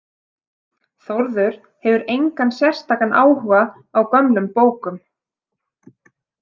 Þórður hefur engan sérstakan áhuga á gömlum bókum.